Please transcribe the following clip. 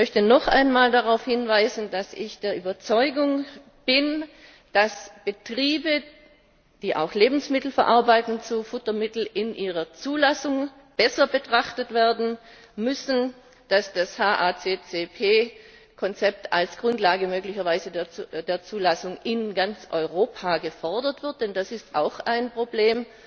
Ich möchte noch einmal darauf hinweisen, dass ich der Überzeugung bin, dass Betriebe, die auch Lebensmittel zu Futtermitteln verarbeiten, in ihrer Zulassung besser betrachtet werden müssen, dass das HACCP Konzept als Grundlage möglicherweise als Grundlage der Zulassung in ganz Europa gefordert wird, denn das ist auch ein Problem